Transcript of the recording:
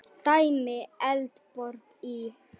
Dæmi: Eldborg í